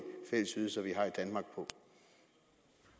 fællesydelser vi har